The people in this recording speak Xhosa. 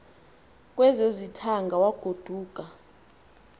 kwezo zithaanga wagoduka